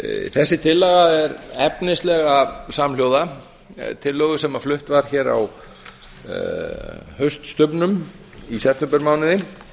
þessi tillaga er efnislega samhljóða tillögu sem flutt var hér á hauststubbnum í septembermánuði